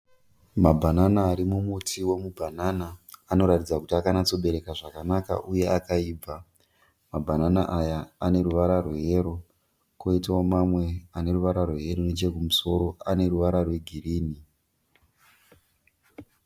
Mabhanana arimumuti wemubhanana . Anoratidza kuti akanyatsobereka zvakanaka uye akaibva. Mabhanana aya aneruvara rweyero, koitawo mamwe ane ruvara rweyero, nechekusoro aneruvara rwegirinhi.